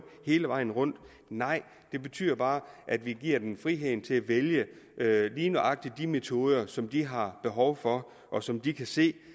hele vejen rundt nej det betyder bare at vi giver dem friheden til at vælge lige nøjagtig de metoder som de har behov for og som de kan se